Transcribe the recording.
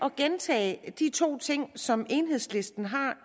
at gentage de to ting som enhedslisten har